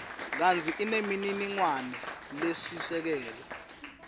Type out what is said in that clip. kantsi inemininingwane lesisekelo